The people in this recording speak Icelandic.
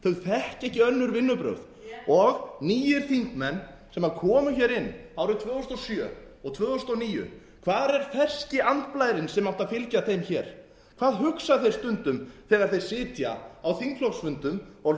þekkja ekki önnur vinnubrögð og nýir þingmenn sem komu inn árið tvö þúsund og sjö og tvö þúsund og níu hvar er ferski andblærinn sem átti að fylgja þeim hvað hugsa þau stundum þegar þau sitja á þingflokksfundum og